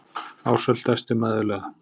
Ársæll dæsti mæðulega.